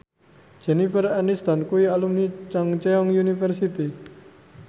Jennifer Aniston kuwi alumni Chungceong University